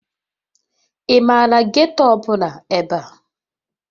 Ị maara geeto ọbụla ebe a?